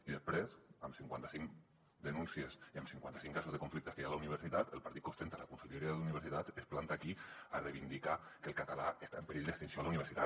i després amb cinquanta cinc denúncies i amb cinquanta cinc casos de conflictes que hi ha a la universitat el partit que ostenta la conselleria d’universitats es planta aquí a reivindicar que el català està en perill d’extinció a la universitat